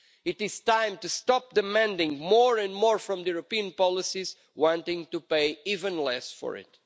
It is time to stop demanding more and more from the European policies, while wanting to pay even less for it.